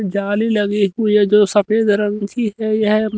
जाली लगी हुई है जो सफेद रंग की है यह--